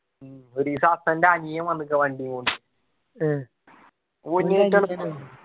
ഒരീസം ഹസ്സൻ്റെ അനിയൻ വന്നിക്കാ വണ്ടീ കൊണ്ട്